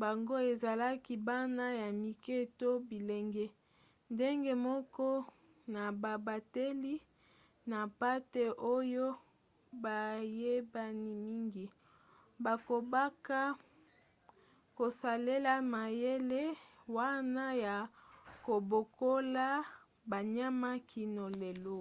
bango ezalaki bana ya mike to bilenge ndenge moko na babateli na mpate oyo bayebani mingi. bakobaka kosalela mayele wana ya kobokola banyama kino lelo